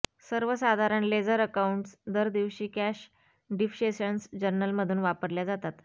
सर्वसाधारण ledger accounts दरदिवशी cash डिबसेशन्स जर्नलमधून वापरल्या जातात